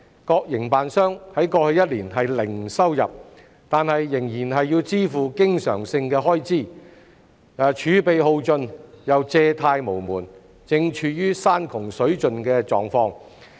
各營辦商在過去一年零收入，但仍要支付經常性開支，儲備耗盡又借貸無門，正處於山窮水盡的狀況。